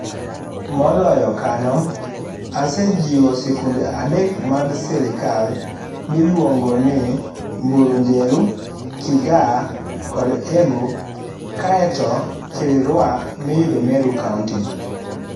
Moloyo kanyo, asee jiwo sikunde adek mag sirkal miluongo ni Mbuinjeru, Kigaa kod Embu kaeto Kiriwra miyudo Meru county.